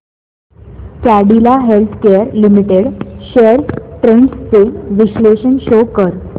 Cadila healthcare limited shares trends चे विश्लेषण show कर